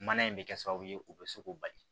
Mana in bɛ kɛ sababu ye o bɛ se k'o bali